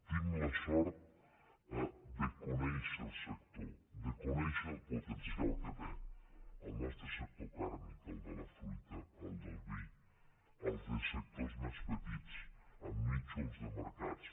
tinc la sort de conèixer el sector de conèixer el potencial que té el nostre sector carni el de la fruita el del vi altres sectors més petits amb nínxols de mercats